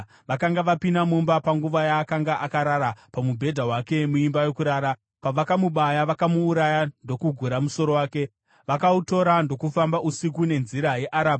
Vakanga vapinda mumba panguva yaakanga akarara pamubhedha wake muimba yokurara. Pavakamubaya vakamuuraya, ndokugura musoro wake. Vakautora, ndokufamba usiku nenzira yeArabha.